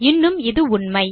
இன்னும் இது உண்மை